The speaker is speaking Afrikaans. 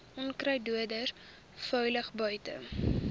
onkruiddoders veilig buite